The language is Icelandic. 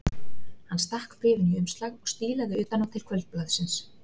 Hann stakk bréfinu í umslag og stílaði utan á til Kvöldblaðsins.